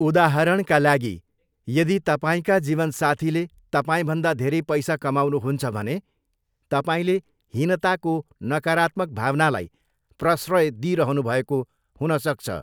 उदाहरणका लागि, यदि तपाईँका जीवनसाथीले तपाईँभन्दा धेरै पैसा कमाउनुहुन्छ भने तपाईँले हीनताको नकारात्मक भावनालाई प्रश्रय दिइरहनु भएको हुन सक्छ।